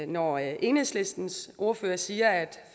når enhedslistens ordfører siger at